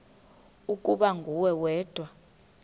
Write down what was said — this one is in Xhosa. ukuba nguwe wedwa